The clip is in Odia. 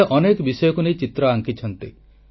ସେ ଅନେକ ବିଷୟକୁ ନେଇ ଚିତ୍ର ଆଙ୍କିଛନ୍ତି